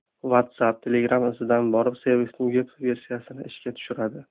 WhatsApp Telegram izidan borib, servisning veb-versiyasini ishga tushiradi.